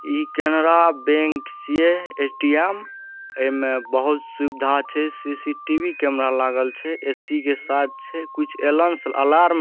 ई Canara bank छीये ATM ऐमे बहुत सुविधा छै सी.सी.टी.वी कैमरे लागल छै ए.सी के साथ छै। कुछ एलंस अलार्म --